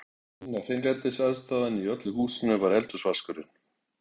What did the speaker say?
Eina hreinlætisaðstaðan í öllu húsinu var eldhúsvaskurinn.